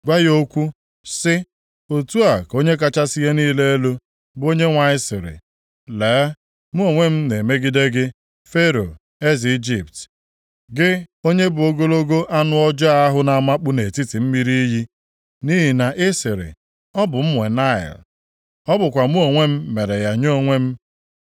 Gwa ya okwu, sị, ‘Otu a ka Onye kachasị ihe niile elu, bụ Onyenwe anyị sịrị: “ ‘Lee, mụ onwe m na-emegide gị, Fero eze Ijipt, gị onye bụ ogologo anụ ọjọọ ahụ na-amakpu nʼetiti mmiri iyi. Nʼihi na ị sịrị, “Ọ bụ m nwe Naịl, ọ bụkwa mụ onwe m mere ya nye onwe m.”